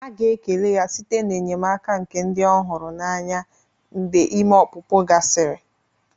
A ga-ekele ya site n'enyemaka nke ndị ọ hụrụ n'anya mgbe ime ọpụpụ gasịrị.